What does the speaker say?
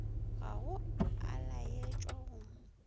ga go a laetšwa go